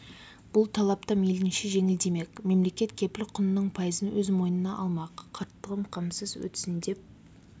бұл талап та мейлінше жеңілдемек мемлекет кепіл құнының пайызын өз мойнына алмақ қарттығым қамсыз өтсін деп